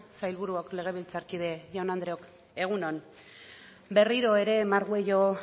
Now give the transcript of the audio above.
sailburuok legebiltzarkide jaun andreok egun on berriro ere margüello